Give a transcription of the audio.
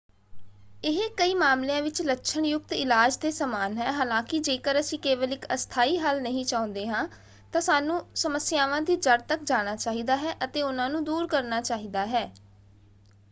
ਇਹ ਕਈ ਮਾਮਲਿਆਂ ਵਿੱਚ ਲੱਛਣ ਯੁਕਤ ਇਲਾਜ ਦੇ ਸਮਾਨ ਹੈ। ਹਾਲਾਂਕਿ ਜੇਕਰ ਅਸੀਂ ਕੇਵਲ ਇੱਕ ਅਸਥਾਈ ਹੱਲ ਨਹੀਂ ਚਾਹੁੰਦੇ ਹਾਂ ਤਾਂ ਸਾਨੂੰ ਸਮੱਸਿਆਵਾਂ ਦੀ ਜੜ੍ਹ ਤੱਕ ਜਾਣਾ ਚਾਹੀਦਾ ਹੈ ਅਤੇ ਉਹਨਾਂ ਨੂੰ ਦੂਰ ਕਰਨਾ ਚਾਹੀਦਾ ਹੈ।